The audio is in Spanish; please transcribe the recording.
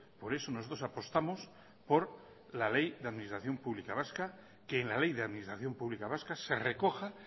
por eso nosotros apostamos por la ley de administración pública vasca que en la ley de administración pública vasca se recoja